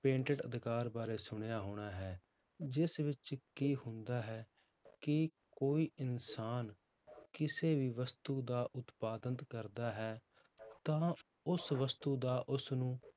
patent ਅਧਿਕਾਰ ਬਾਰੇ ਸੁਣਿਆ ਹੋਣਾ ਹੈ, ਜਿਸ ਵਿੱਚ ਕੀ ਹੁੰਦਾ ਹੈ ਕਿ ਕੋਈ ਇਨਸਾਨ ਕਿਸੇ ਵੀ ਵਸਤੂ ਦਾ ਉਤਪਾਦਨ ਕਰਦਾ ਹੈ, ਤਾਂ ਉਸ ਵਸਤੂ ਦਾ ਉਸਨੂੰ